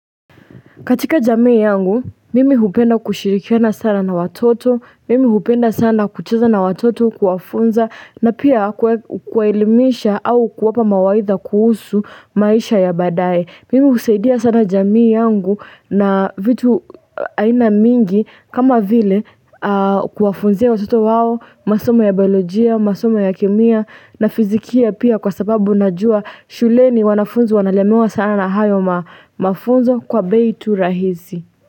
Katika jamii yangu, mimi hupenda kushirikiana sana na watoto, mimi hupenda sana kucheza na watoto kuwafunza na pia kuwaelimisha au kuwapa mawaidha kuhusu maisha ya badaye. Mimi husaidia sana jamii yangu na vitu aina mingi kama vile kuwafunzia watoto wao, masomo ya biolojia, masoma ya kemia na fizikia pia kwa sababu najua shuleni wanafunzi wanalemewa sana na hayo mafunzo kwa bei tu rahisi.